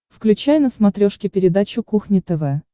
включай на смотрешке передачу кухня тв